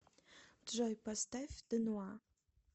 джой поставь дануа